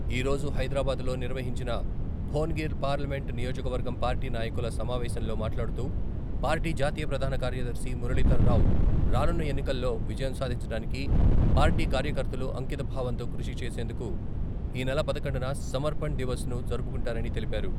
ఈరోజు హైదరాబాద్లో నిర్వహించిన భోనగిర్ పార్లమెంట్ నియోజకవర్గం పార్టీ నాయకుల సమావేశంలో మాట్లాడుతూ పార్టీ జాతీయ ప్రధాన కార్యదర్శి మురళీధరరావు రానున్న ఎన్నికల్లో విజయం సాధించడానికి పార్టీ కార్యకర్తలు అంకితభావంతో కృషి చేసేందుకు ఈనెల పదకొండున సమర్పణ్ దివస్ ను జరుపుకుంటారని తెలిపారు.